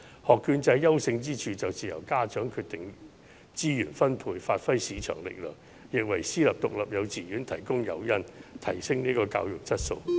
學券制優勝之處便是由家長決定資源分配，發揮市場力量，亦為私立獨立幼稚園提供誘因，提升教育質素。